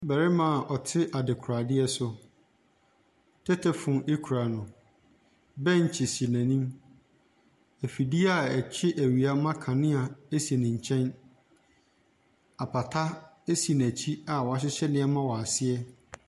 Bɛrema ɔte adekoradeɛ so. Tetefon ekura no, bɛkye si n'enim, efidie a ɛkye ewia ma kanea esi ne kyɛn. Apata esi n'ekyi a wahyehyɛ neɛma wɔ aseɛ.